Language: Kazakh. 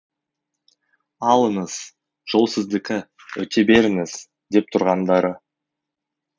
алыңыз жол сіздікі өте беріңіз деп тұрғандары